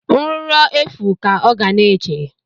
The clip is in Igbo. Nruro efu ka ọ ga na-eche